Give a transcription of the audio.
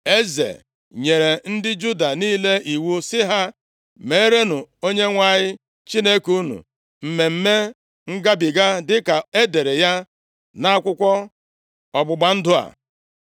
Eze nyere ndị Juda niile iwu sị ha, “Meerenụ Onyenwe anyị Chineke unu Mmemme Ngabiga, dịka e dere ya nʼakwụkwọ ọgbụgba ndụ a.”